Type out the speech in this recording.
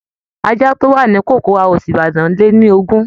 Àjà tó wà ní cocoa House Ibadan lé ní ogún